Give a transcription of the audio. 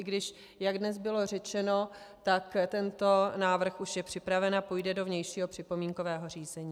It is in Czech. I když, jak dnes bylo řečeno, tak tento návrh už je připraven a půjde do vnějšího připomínkového řízení.